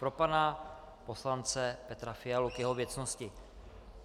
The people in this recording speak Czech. Pro pana poslance Petra Fialu k jeho věcnosti.